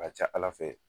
A ka ca ala fɛ